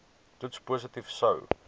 toets positief sou